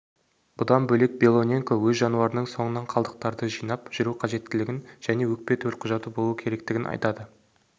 бұдан бөлек белоненко өз жануарының соңынан қалдықтарды жинап жүру қажеттілігін және екпе төлқұжаты болуы керектігін айтады